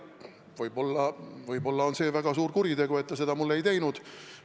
Võib-olla on see väga suur kuritegu, et ta seda ei teinud.